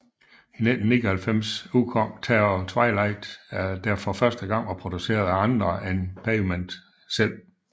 I 1999 udkom Terror Twilight der for første gang var produceret af andre end Pavement selv